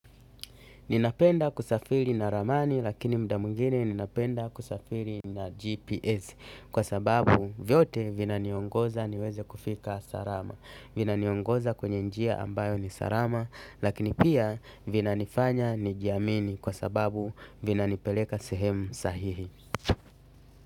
Ninapenda kusafiri na ramani lakini muda mwingine ninapenda kusafiri na GPS kwa sababu vyote vinaniongoza niweze kufika salama. Vinaniongoza kwenye njia ambayo ni salama lakini pia vinanifanya nijiamini kwa sababu vinanipeleka sehemu sahihi.